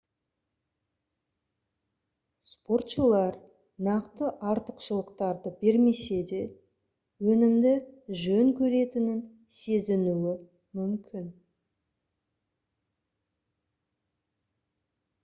спортшылар нақты артықшылықтарды бермесе де өнімді жөн көретінін сезінуі мүмкін